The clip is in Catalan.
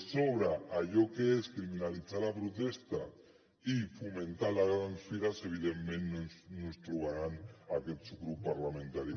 sobre allò que és criminalitzar la protesta i fomentar les grans fires evidentment no ens hi trobaran a aquest subgrup parlamentari